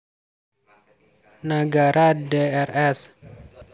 Nagara Drs